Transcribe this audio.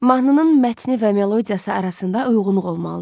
Mahnının mətni və melodiyası arasında uyğunluq olmalıdır.